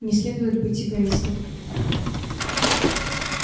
не следует быть эгоистом